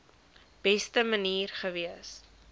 beste manier gewees